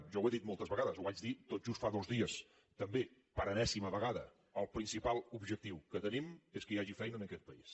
jo ho he dit moltes vegades ho vaig dir tot just fa dos dies també per enèsima vegada el principal objectiu que tenim és que hi hagi feina en aquest país